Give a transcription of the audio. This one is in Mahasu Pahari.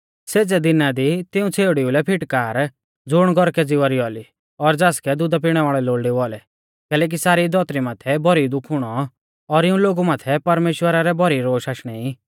सेज़ै दिना दी तिऊं छ़ेउड़ीऊ लै फिटकार ज़ुण गौरकै ज़िवा री औली और ज़ासकै दुधा पिणै वाल़ै लोल़डै औलै कैलैकि सारी धौतरी माथै भौरी दुःख हुणौ और इऊं लोगु माथै परमेश्‍वरा रै भौरी रोश आशणै ई